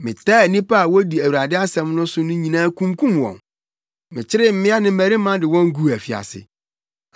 Metaa nnipa a wodi Awurade asɛm so no nyinaa kunkum wɔn. Mekyeree mmea ne mmarima de wɔn guu afiase.